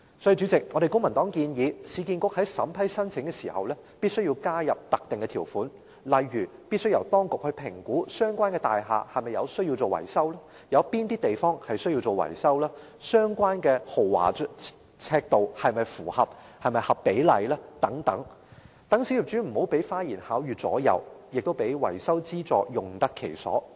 所以，主席，公民黨建議市建局在審批申請時，必須加入特定條款，例如必須由當局評估相關大廈是否需要進行維修，有哪些範圍需要進行維修，工程的豐儉尺度是否符合比例等，讓小業主不會被花言巧語所左右，亦會令維修資助用得其所。